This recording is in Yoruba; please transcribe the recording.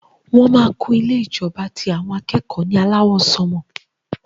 Wọn má kún ilé ìjọba ti àwọn akẹ́kọ̀ọ́ ní alawọ sanmọ.